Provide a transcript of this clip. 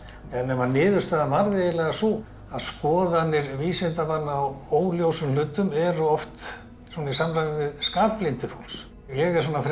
niðurstaðan varð eiginlega sú að skoðanir vísindamanna á óljósum hlutum eru oft í samræmi við skaplyndi fólks ég er svona frekar